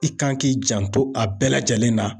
I kan k'i janto a bɛɛ lajɛlen na.